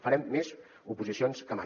farem més oposicions que mai